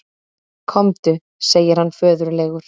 Komdu, segir hann föðurlegur.